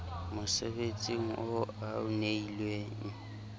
mosebetsing oo a o neilweng